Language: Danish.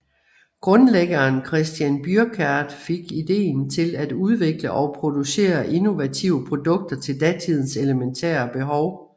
Grundlæggeren Christian Bürkert fik ideen til at udvikle og producere innovative produkter til datidens elementære behov